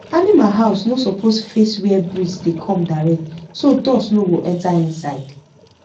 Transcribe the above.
animal house no suppose face where breeze dey come direct so dust no go enter inside